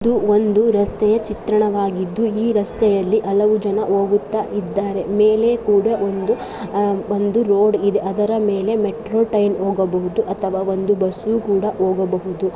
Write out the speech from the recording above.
ಇದು ಒಂದು ರಸ್ತೆಯ ಚಿತ್ರಣವಾಗಿದ್ದು ಈ ರಸ್ತೆಯಲ್ಲಿ ಅಲವು ಜನ ಓಗುತ್ತಾ ಇದ್ದಾರೆ. ಮೇಲೆ ಕೂಡ ಒಂದು ಅಹ್ ಒಂದು ರೋಡ್ ಇದೆ ಅದರ ಮೇಲೆ ಮೆಟ್ರೋ ಟ್ರೈನ್ ಓಗಬಹುದು ಅಥವಾ ಒಂದು ಬಸ್ಸು ಕೂಡ ಓಗಬಹುದು .